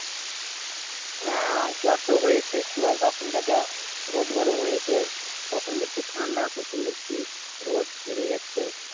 হ্যাঁ জ্বর তো হয়েছে। কি বলতো এখনকার যা রোদ গরম হয়েছে কখন দেখছি ঠান্ডা কখন দেখছি রোদ বেরিয়ে যাচ্ছে।